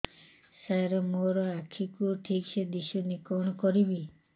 ସାର ମୋର ଆଖି କୁ ଠିକସେ ଦିଶୁନି କଣ କରିବି